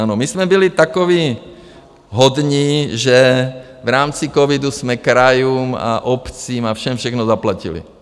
Ano, my jsme byli takoví hodní, že v rámci covidu jsme krajům a obcím a všem všechno zaplatili.